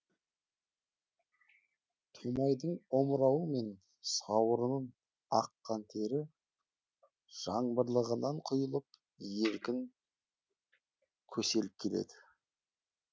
томайдың омырауы мен сауырынын аққан тері жаңбырлығынан құйылып еркін көселіп келеді